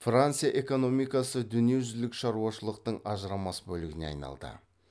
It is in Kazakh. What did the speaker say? франция экономикасы дүниежүзілік шаруашылықтын ажырамас бөлігіне айналды